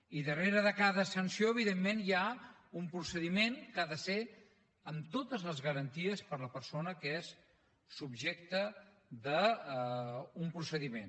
i darrere de cada sanció evidentment hi ha un procediment que ha de ser amb totes les garanties per a la persona que és subjecte d’un procediment